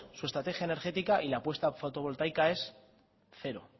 su estrategia política y la apuesta fotovoltaica es cero